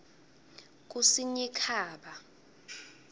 kusinyikhaba